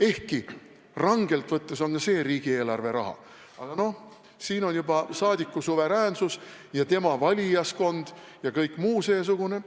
Ehkki rangelt võttes on see riigieelarve raha, aga no siin on mängus juba saadiku suveräänsus ja tema valijaskond ja kõik muu seesugune.